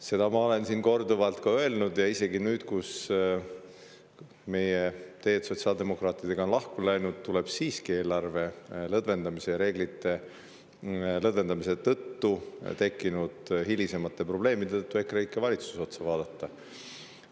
Seda ma olen siin korduvalt öelnud ja isegi nüüd, kui meie ja sotsiaaldemokraatide teed on lahku läinud, et eelarvereeglite lõdvendamise tõttu tekkinud hilisemate probleemide asjus tuleb siiski EKREIKE valitsuse poole vaadata.